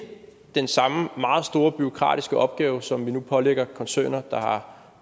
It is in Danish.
den samme meget store bureaukratiske opgave som vi nu pålægger koncerner der har